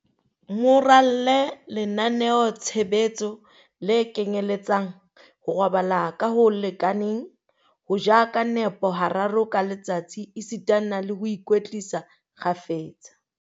Mo ralle lenaneo-tshebetso le kenyeletsang, ho robala ka ho lekaneng, ho ja ka nepo hararo ka letsatsi esitana le ho ikwetlisa kgafetsa.